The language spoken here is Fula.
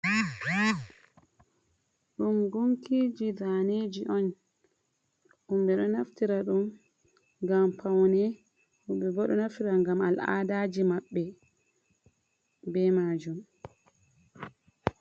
Ɗum gunkiiji daneeji on, ɗum ɓe ɗo naftira ɗum ngam pawne, woɓɓe bo ɗo naftira ngam alaadaaji maɓɓe be maajum.